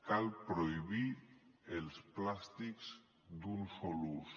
cal prohibir els plàstics d’un sol ús